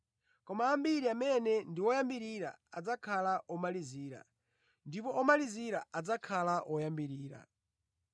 Koma ambiri amene ndi woyambirira adzakhala omalizira, ndipo omalizira adzakhala oyambirira.”